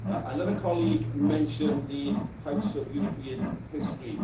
Another colleague mentioned the House of European History.